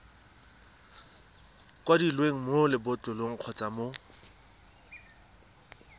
kwadilweng mo lebotlolong kgotsa mo